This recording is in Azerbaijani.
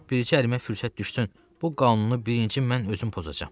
Bircə ərimə fürsət düşsün, bu qanunu birinci mən özüm pozacağam.